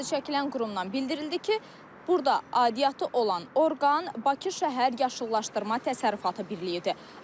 Adı çəkilən qurumdan bildirildi ki, burda aidiyyatı olan orqan Bakı şəhər yaşıllaşdırma təsərrüfatı birliyidir.